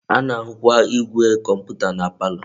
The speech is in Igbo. A na-ahukwa igwe komputa na palo.